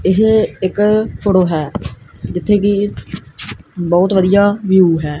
ਇਹ ਇੱਕ ਫ਼ੋਟੋ ਹੈ ਜਿੱਥੇ ਕੀ ਬਹੁਤ ਵਧੀਆ ਵਿਊ ਹੈ।